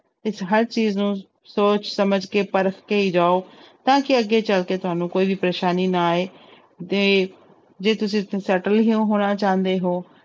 ਤੇ ਹਰ ਚੀਜ਼ ਨੂੰ ਸੋਚ ਸਮਝ ਕੇ ਪਰਖਕੇ ਹੀ ਜਾਓ ਤਾਂ ਕਿ ਅੱਗੇ ਜਾ ਕੇ ਤੁਹਾਨੂੰ ਕੋਈ ਵੀ ਪਰੇਸਾਨੀ ਨਾ ਆਏ ਜੇ ਜੇ ਤੁਸੀਂ ਸ~ settle ਹੀ ਹੋਣਾ ਚਾਹੁੰਦੇ ਹੋ,